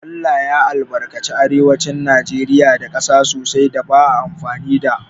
ALLAH ya albarkace arewacin najeriya da ƙasa sosai da ba a amfani da